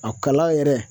A kala yɛrɛ